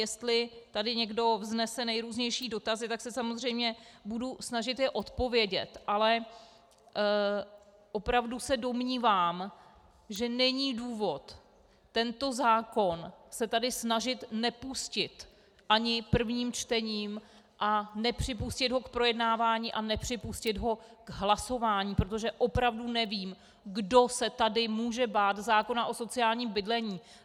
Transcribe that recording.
Jestli tady někdo vznese nejrůznější dotazy, tak se samozřejmě budu snažit je odpovědět, ale opravdu se domnívám, že není důvod tento zákon se tady snažit nepustit ani prvním čtením a nepřipustit ho k projednávání a nepřipustit ho k hlasování, protože opravdu nevím, kdo se tady může bát zákona o sociálním bydlení.